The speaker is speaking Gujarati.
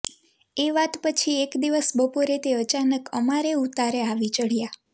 એ વાત પછી એક દિવસ બપોરે તે અચાનક અમારે ઉતારે આવી ચઢ્યા